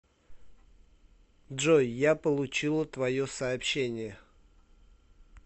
джой я получила твое сообщение